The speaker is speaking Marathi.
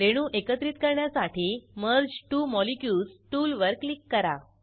रेणू एकत्रित करण्यासाठी मर्ज त्वो मॉलिक्युल्स टूलवर क्लिक करा